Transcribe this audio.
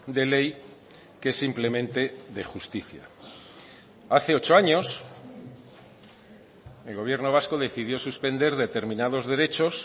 de ley que es simplemente de justicia hace ocho años el gobierno vasco decidió suspender determinados derechos